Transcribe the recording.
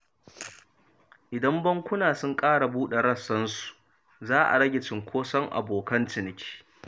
Idan bankuna sun ƙara buɗe rassansu, za a rage cunkoson abokan ciniki.